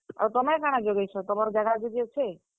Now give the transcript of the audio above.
ଆଉ ତୁମେ କାଣା ଜଗେଇଛ, ତୁମର ଜାଗା ଜୁଗି ଅଛେ?